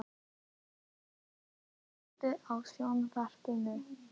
Lisbeth, kveiktu á sjónvarpinu.